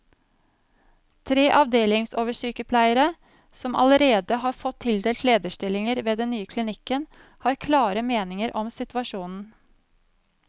Tre avdelingsoversykepleiere, som allerede har fått tildelt lederstillinger ved den nye klinikken, har klare meninger om situasjonen.